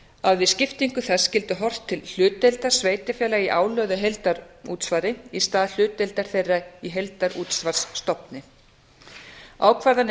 að við skiptingu þess skyldi horft til hlutdeildar sveitarfélaga í álögðu heildarútsvari í stað hlutdeildar þeirra í heildarútsvarsstofni ákvarðanir einstakra